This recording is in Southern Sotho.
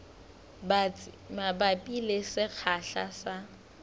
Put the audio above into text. batsi mabapi le sekgahla sa